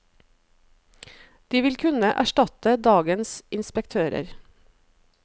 De vil kunne erstatte dagens inspektører.